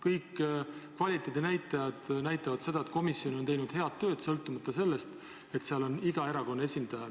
Kõik kvaliteedinäitajad näitavad seda, et komisjon on teinud head tööd, kuigi seal on ka erakondade esindajad.